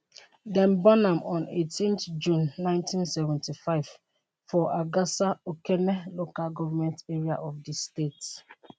dem born am on 18th june 1975 for agasa okene local government area of di state